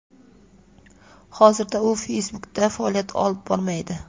Hozirda u Facebook’da faoliyat olib bormaydi.